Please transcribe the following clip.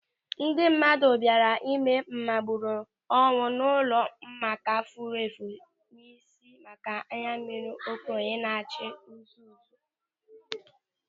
Ndị mmadụ bịara ịme mgbaru ọnwụ n'ụlọ Omenkà fufere isi maka na anyammiri okenye na-acha nzú nzú.